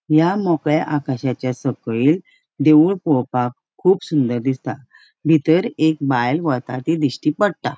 या मोकळ्या आकाशाच्या सकैल देऊळ पोळोवपाक कुब सुंदर दिसता बितर एक बायल वता ती दिश्टी पट्टा.